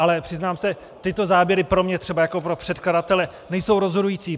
Ale přiznám se, tyto záběry pro mě třeba jako pro předkladatele nejsou rozhodující.